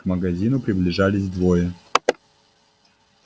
к магазину приближались двое